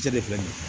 Cɛ de filɛ nin ye